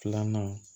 Filanan